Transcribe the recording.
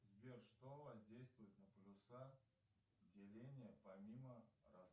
сбер что воздействует на полюса деления помимо